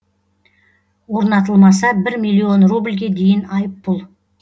орнатылмаса бір миллион рубльге дейін айыппұл